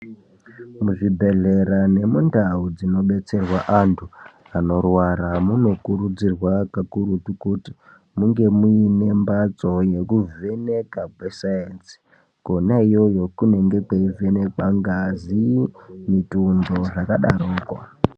Muzvibhedhlera nemundau dzinobetserwa antu anorwara, munokurudzirwa kakurutu kuti munge muyine mbatso yekuvheneka kwesayinzi, kwona iyoyo kunenge kweyivhenekwa ngazi, mitundu zvakadarako.